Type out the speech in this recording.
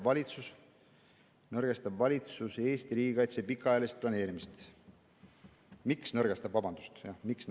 Miks nõrgestab valitsus Eesti riigikaitse pikaajalist planeerimist?